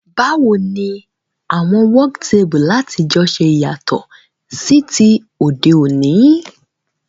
Báwoni àwon work table látijọ́ se yàtò sí ti òdé òní?